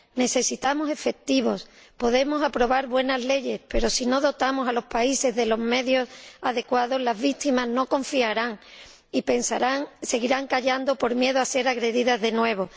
Necesitamos efectivos podemos aprobar buenas leyes, pero si no dotamos a los países de los medios adecuados, las víctimas no confiarán y seguirán callando por miedo a ser agredidas de nuevo.